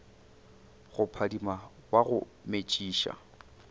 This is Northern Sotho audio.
go phadima wa go metšiša